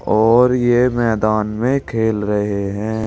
और ये मैदान में खेल रहे हैं।